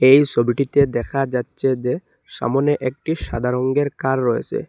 এই সোবিটিতে দেখা যাচচে যে সামোনে একটি সাদা রঙ্গের কার রয়েসে।